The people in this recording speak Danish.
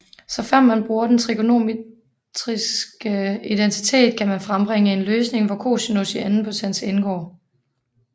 Såfremt man bruger den trigonometriske identitet kan man frembringe en løsning hvor cosinus i anden potens indgår